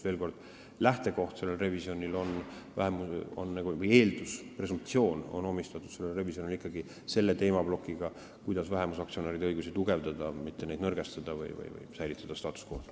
Veel kord, selle revisjoni lähtekoht või eeldus ehk presumptsioon on ikkagi see teemaplokk, kuidas vähemusaktsionäride õigusi tugevdada, mitte neid nõrgestada või säilitada status quo.